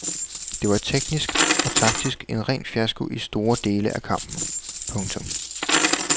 Det var teknisk og taktisk en ren fiasko i store dele af kampen. punktum